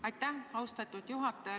Aitäh, austatud juhataja!